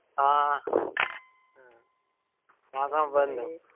ആഹ് ആ